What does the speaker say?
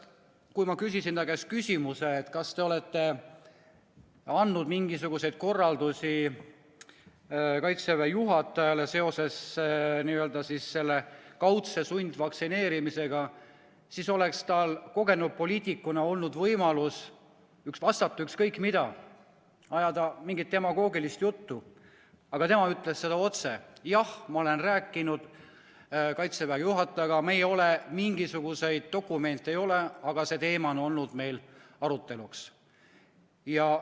Kui ma küsisin ta käest, kas ta on andnud Kaitseväe juhatajale mingisuguseid korraldusi seoses kaudselt sunnitud vaktsineerimisega, siis oleks tal kogenud poliitikuna olnud võimalus vastata ükskõik mida, ajada mingit demagoogilist juttu, aga tema ütles otse: jah, ma olen rääkinud Kaitseväe juhatajaga, mingisuguseid dokumente ei ole, aga see teema on meil arutlusel olnud.